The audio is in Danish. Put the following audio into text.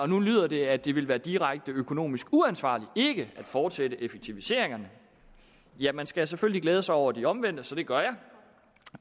nu lyder det at det vil være direkte økonomisk uansvarligt ikke at fortsætte effektiviseringerne ja man skal selvfølgelig glæde sig over de omvendte så det gør jeg